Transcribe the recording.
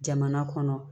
Jamana kɔnɔ